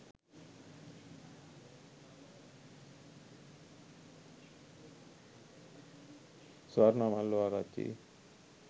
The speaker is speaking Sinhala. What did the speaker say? swarna mallawa arachchi